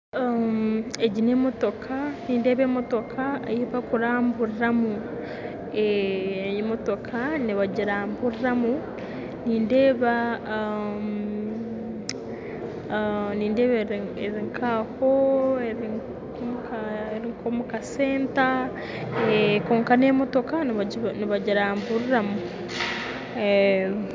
Egi n'emotoka. Nindeeba emotoka ei barikuramburiramu nindeeba eri nkaho omukasenta. Kwonka n'emotoka nibagiramburira